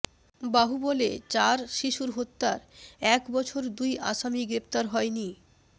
বাহুবলে চার শিশু হত্যার এক বছর দুই আসামি গ্রেপ্তার হয়নি